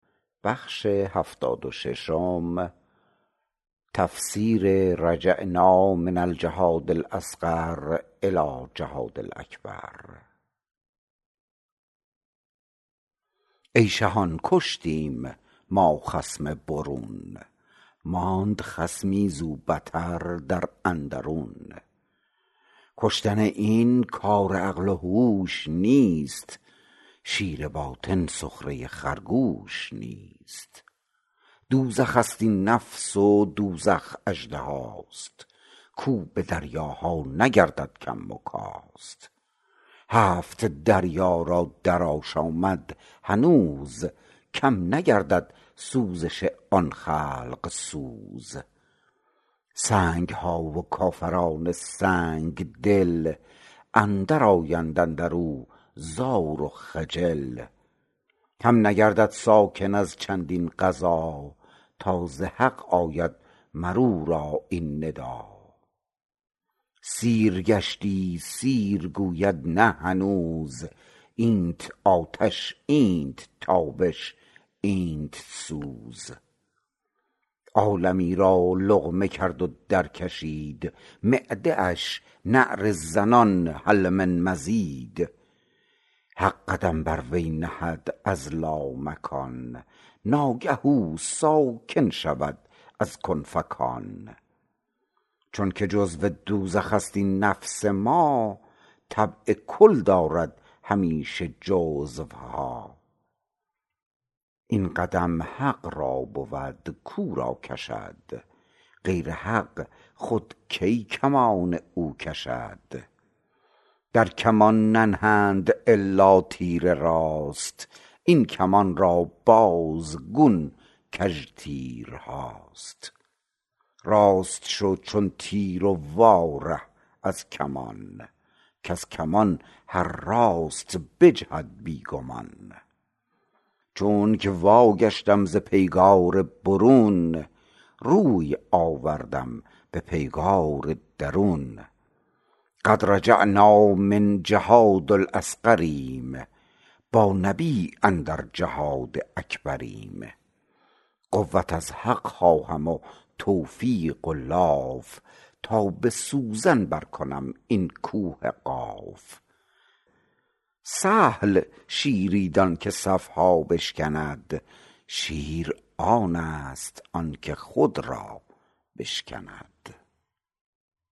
ای شهان کشتیم ما خصم برون ماند خصمی زو بتر در اندرون کشتن این کار عقل و هوش نیست شیر باطن سخره خرگوش نیست دوزخست این نفس و دوزخ اژدهاست کو به دریاها نگردد کم و کاست هفت دریا را در آشامد هنوز کم نگردد سوزش آن خلق سوز سنگها و کافران سنگ دل اندر آیند اندرو زار و خجل هم نگردد ساکن از چندین غذا تا ز حق آید مرورا این ندا سیر گشتی سیر گوید نه هنوز اینت آتش اینت تابش اینت سوز عالمی را لقمه کرد و در کشید معده اش نعره زنان هل من مزید حق قدم بر وی نهد از لامکان آنگه او ساکن شود از کن فکان چونک جزو دوزخست این نفس ما طبع کل دارد همیشه جزوها این قدم حق را بود کو را کشد غیر حق خود کی کمان او کشد در کمان ننهند الا تیر راست این کمان را بازگون کژ تیرهاست راست شو چون تیر و وا ره از کمان کز کمان هر راست بجهد بی گمان چونک وا گشتم ز پیگار برون روی آوردم به پیگار درون قد رجعنا من الجهاد الأصغریم بانبی أندر جهاد أکبریم قوت از حق خواهم و توفیق و لاف تا به سوزن بر کنم این کوه قاف سهل دان شیری که صفها بشکند شیر آنست آن که خود را بشکند